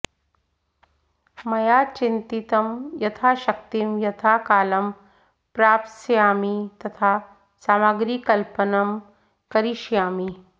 मया चिन्तितं यथाशक्तिं यथा कालं प्राप्स्यामि तथा सामग्रीकल्पनं करिष्यामि